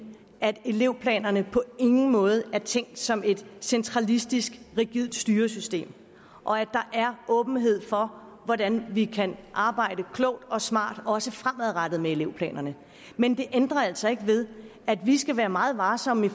at elevplanerne på ingen måde er tænkt som et centralistisk rigidt styresystem og at der er åbenhed for hvordan vi kan arbejde klogt og smart også fremadrettet med elevplanerne men det ændrer altså ikke ved at vi skal være meget varsomme